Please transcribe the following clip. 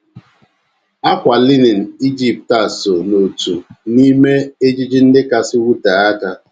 Ákwà linin Ijipt a so n’otu n’ime ejiji ndị kasị wutee aka